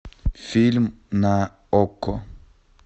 фильм на окко